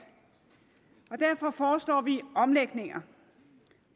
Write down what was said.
og derfor foreslår vi omlægninger